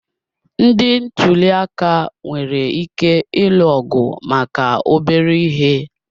Ndị ntuli aka nwere ike ịlụ ọgụ maka obere ihe